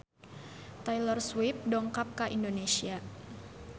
Taylor Swift dongkap ka Indonesia